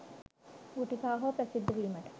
ගුටි කා හෝ ප්‍රසිද්ධ වීමට